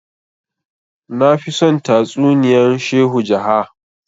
nafi son tatsuniyan shehu jaha